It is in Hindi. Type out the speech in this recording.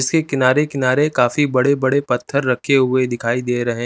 इसके किनारे किनारे काफी बड़े बड़े पत्थर रखे हुए दिखाई दे रहे--